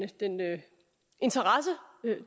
interesse